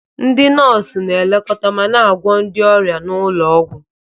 Ndị nọọsụ na-elekọta ma na-agwọ ndị ọrịa n'ụlọ ọgwụ.